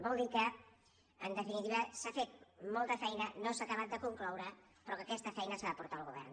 vol dir que en definitiva s’ha fet molta feina no s’ha acabat de concloure però que aquesta feina s’ha de portar al govern